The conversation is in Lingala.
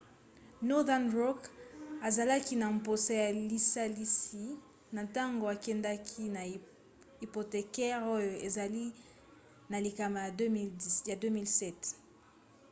northern rock azalaki na mposa ya lisalisi na ntango akendaki na hypothécaires oyo ezali na likama na 2007